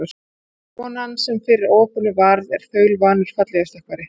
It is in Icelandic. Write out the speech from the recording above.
Konan, sem fyrir óhappinu varð, er þaulvanur fallhlífarstökkvari.